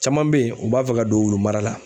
Caman bɛ yen u b'a fɛ ka don wulu mara la.